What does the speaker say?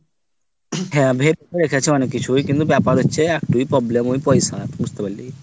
হ্যাঁ ভেবে তো রেখেছি অনেক কিছুই কিন্তু ব্যাপার হচ্ছে একটাই problem ওই পয়সার বুঝতে পারলি